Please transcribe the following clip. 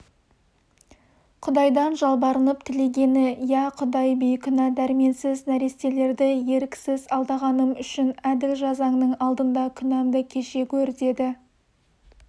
құдайдан жалбарынып тілегені иә құдай бейкүнә дәрменсіз нәрестелерді еріксіз алдағаным үшін әділ жазаңның алдында күнәмді кеше гөр деді